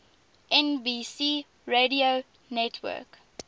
nbc radio network